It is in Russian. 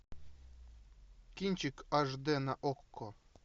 кинчик аш д на окко